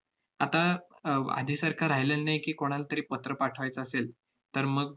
आता अह आधीसारखं राहिलेलं नाही की, कोणाला तरी पत्र पाठवायचं असेल, तर मग